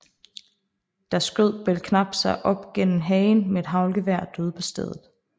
Der skød Belknap sig op gennem hagen med et haglgevær og døde på stedet